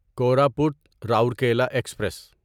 Koraput Rourkela express